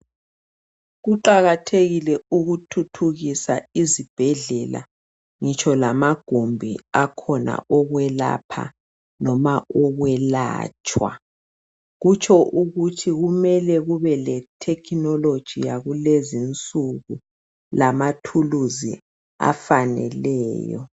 Kuqakathekile ukuthuthukisa izibhedlela ngitsho lamagumbi akhona okwelapha noma okwelatshwa kutsho ukuthi kumele kube le thekhinoloji yakulezi nsuku lama thulisi afaneleyo.